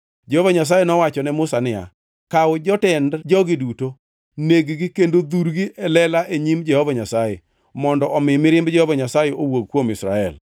Jehova Nyasaye nowacho ne Musa niya, “Kaw jotend jogi duto, neg-gi kendo dhurgi e lela e nyim Jehova Nyasaye, mondo omi mirimb Jehova Nyasaye owuog kuom Israel.”